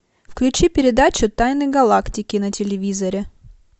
включи передачу тайны галактики на телевизоре